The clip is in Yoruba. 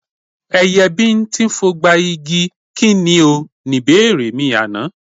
Ẹyẹ bíńtín fogba igi, kí ni o? Ni ìbéèrè àná.